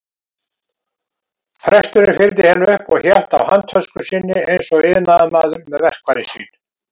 Presturinn fylgdi henni upp og hélt á handtösku sinni eins og iðnaðarmaður með verkfærin sín.